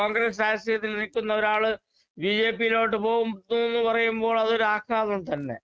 കോൺഗ്രസ് രാഷ്ട്രീയത്തിൽ നിൽക്കുന്നൊരാള് ബിജെപിയിലോട്ട് പോകുന്നുന്ന് പറയുമ്പോൾ അതൊരാഘാതം തന്നെ കെപിസിസി പ്രസിഡന്റും ആണ് സുധാകരന്‍